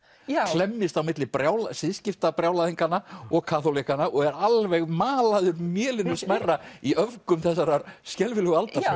klemmist á milli og kaþólikkanna og er alveg malaður mélinu smærra í öfgum þessarar skelfilegu aldar